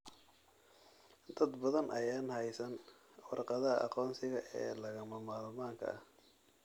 Dad badan ayaan haysan warqadaha aqoonsiga ee lagama maarmaanka ah.